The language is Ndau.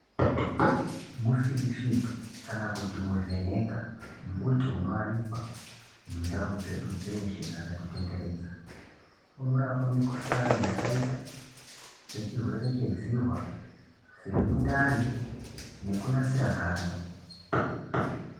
Mufiri fiti kana kuti muvheneka mbuti unowanikwa nundau dzedu dzeshe dzakati tenderedza inorapa mukhuhlani yakaita sechirwere chedzihwa semundani nekunasira ganda.